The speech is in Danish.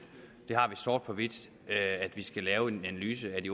vi har det sort på hvidt at vi skal lave en analyse af de